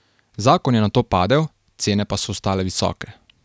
Zakon je nato padel, cene pa so ostale visoke.